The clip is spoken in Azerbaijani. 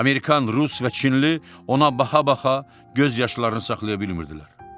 Amerikan, rus və çinli ona baxa-baxa göz yaşlarını saxlaya bilmirdilər.